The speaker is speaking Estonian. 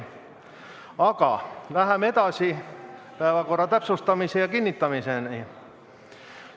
Aga läheme edasi päevakorra täpsustamise ja kinnitamisega.